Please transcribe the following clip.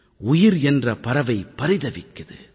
உயிர் என்ற பறவை பரிதவிக்குது